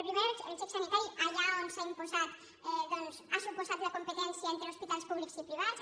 primer el xec sanitari allà on s’ha imposat ha suposat la competència entre hospitals públics i privats